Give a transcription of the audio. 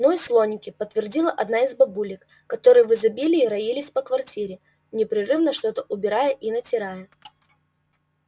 ну и слоники подтвердила одна из бабулек которые в изобилии роились по квартире непрерывно что-то убирая и натирая